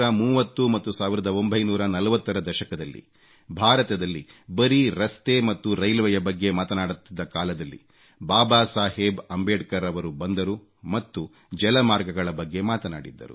1930 ಮತ್ತು 1940 ರ ದಶಕದಲ್ಲಿ ಭಾರತದಲ್ಲಿ ಬರೀ ರಸ್ತೆ ಮತ್ತು ರೈಲ್ವೆ ಯ ಬಗ್ಗೆ ಮಾತನಾಡಲಾಗುತ್ತಿದ್ದ ಕಾಲದಲ್ಲಿ ಬಾಬಾ ಸಾಹೇಬ್ ಅಂಬೇಡ್ಕರ್ ರವರು ಬಂದರು ಮತ್ತು ಜಲಮಾರ್ಗಗಳ ಬಗ್ಗೆ ಮಾತನಾಡಿದ್ದರು